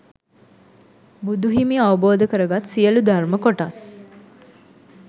බුදුහිමි අවබෝධ කරගත් සියලු ධර්ම කොටස්